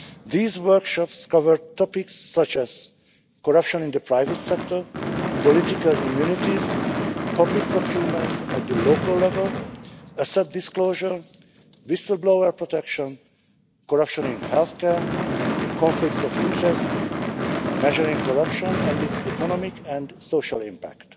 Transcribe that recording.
These workshops cover topics such as corruption in the private sector, political immunities, public procurement at local level, asset disclosure, whistle-blower protection, corruption in health care, conflicts of interest, and measuring corruption and its economic and social impact.